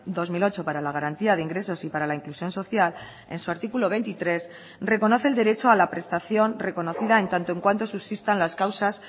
dos mil ocho para la garantía de ingresos y para la inclusión social en su artículo veintitrés reconoce el derecho a la prestación reconocida en tanto en cuanto subsistan las causas